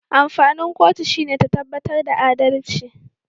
Amfanin kotu shine ta tabbatar da adalci